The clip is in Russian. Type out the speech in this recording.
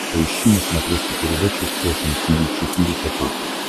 поищи на смотрешке передачу фэшн ти ви четыре ка